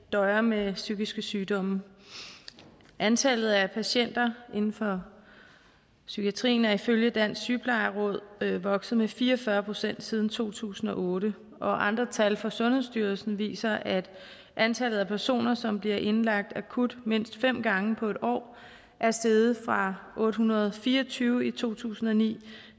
døjer med psykiske sygdomme antallet af patienter inden for psykiatrien er ifølge dansk sygeplejeråd vokset med fire og fyrre procent siden to tusind og otte og andre tal fra sundhedsstyrelsen viser at antallet af personer som bliver indlagt akut mindst fem gange på en år er steget fra otte hundrede og fire og tyve i to tusind og ni